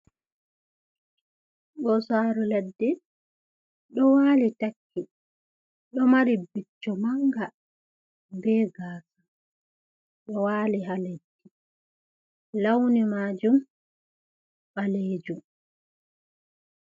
Ɓosaru ladde ɗo wali taggi, ɗo mari bicco manga be gasa, ɗo wali ha leddi. Launi majum ɓalejum.